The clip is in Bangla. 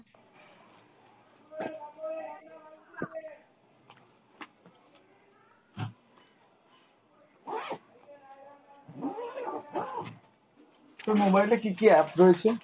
তোর mobile টাই কী কী apps রয়েছে?